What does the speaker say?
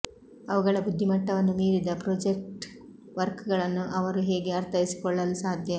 ಅವುಗಳ ಬುದ್ದಿಮಟ್ಟವನ್ನು ಮೀರಿದ ಪ್ರೋಜೆಕ್ಟ ವರ್ಕಗಳನ್ನ ಅವರು ಹೇಗೆ ಅರ್ಥೈಸಿಕೊಳ್ಳಲು ಸಾಧ್ಯ